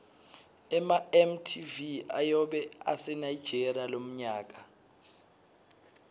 ema mtv ayobe ase nigeria lomnyaka